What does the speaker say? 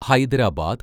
Hyderabad